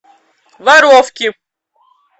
воровки